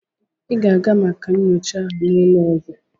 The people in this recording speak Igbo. Ị ga-aga maka nyocha aha n'ụlọ eze!